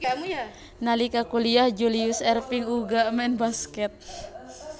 Nalika kuliyah Julius Erving uga main baskèt